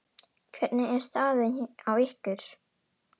Hvernig er staðan á ykkur?